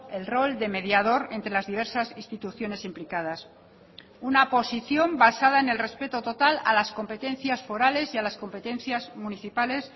el rol de mediador entre las diversas instituciones implicadas una posición basada en el respeto total a las competencias forales y a las competencias municipales